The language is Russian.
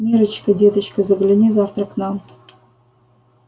миррочка деточка загляни завтра к нам